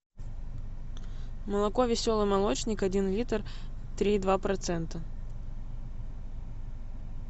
молоко веселый молочник один литр три и два процента